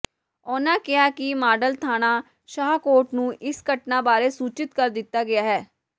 ਉਨ੍ਹਾਂ ਕਿਹਾ ਕਿ ਮਾਡਲ ਥਾਣਾ ਸ਼ਾਹਕੋਟ ਨੂੰ ਇਸ ਘਟਨਾ ਬਾਰੇ ਸੂਚਿਤ ਕਰ ਦਿੱਤਾ ਗਿਆ ਹੈ